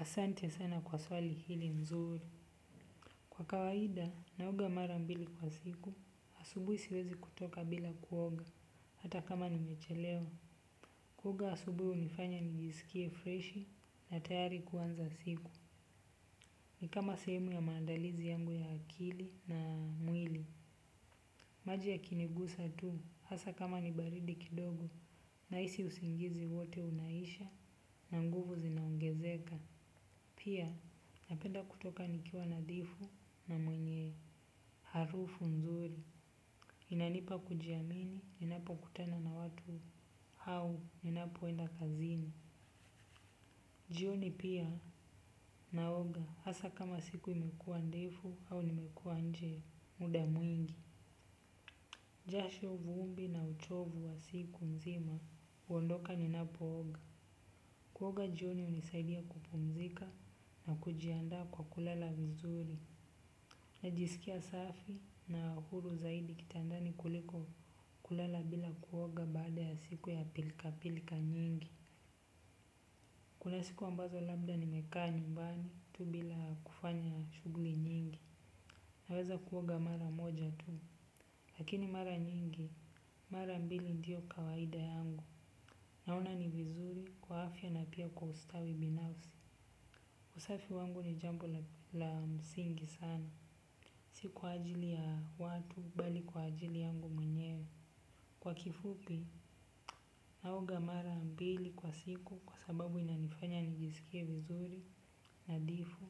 Asante sana kwa swali hili mzuri. Kwa kawaida, naoga mara mbili kwa siku, asubuhi siwezi kutoka bila kuoga, hata kama nimechelewa. Kuoga asubuhi hunifanya nijisikie freshi na tayari kuanza siku. Ni kama sehemu ya maandalizi yangu ya akili na mwili. Maji yakinigusa tu, hasa kama ni baridi kidogo, nahisi usingizi wote unaisha, na nguvu zinaongezeka. Pia napenda kutoka nikiwa nadhifu na mwenye harufu nzuri. Inanipa kujiamini ninapokutana na watu hau ninapoenda kazini. Jioni pia naoga hasa kama siku imekuwa ndefu au nimekuwa nje muda mwingi. Jasho vumbi na uchovu wa siku nzima huondoka ninapooga. Kuoga jioni hunisaidia kupumzika na kujiandaa kwa kulala vizuri. Najisikia safi na huru zaidi kitandani kuliko kulala bila kuoga baada ya siku ya pilkapilka nyingi. Kuna siku ambazo labda nimeka nyumbani tu bila kufanya shughuli nyingi. Naweza kuoga mara moja tu. Lakini mara nyingi, mara mbili ndiyo kawaida yangu. Naona ni vizuri kwa afya na pia kwa ustawi binafsi. Usafi wangu ni jambo la msingi sana. Si kwa ajili ya watu bali kwa ajili yangu mwenye. Kwa kifupi naoga mara mbili kwa siku kwa sababu inanifanya nijisikie vizuri nadhifu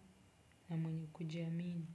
na mwenye kujiamini.